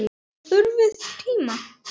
Það þurfti tíma.